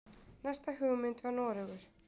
Næsta hugmynd var Noregur.